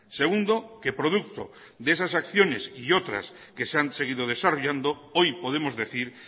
segundo que producto de esas acciones y otras que se han seguido desarrollando hoy podemos decir